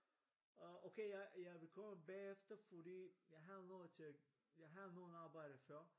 Øh okay jeg vil komme bagefer fordi jeg har noget til at jeg har noget arbejde før